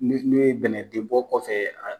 Ni ne ye dɛmɛn den bɔ kɔfɛ